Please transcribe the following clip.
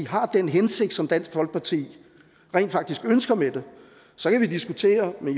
har den hensigt som dansk folkeparti rent faktisk ønsker med det så kan vi diskutere med